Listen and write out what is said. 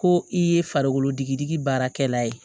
Ko i ye farikolo digidigi baarakɛla ye